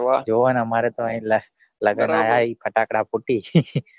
જોવો ને અમારે પણ એ જ આયા લગન માં આયા ફટાકડા ફૂટે છે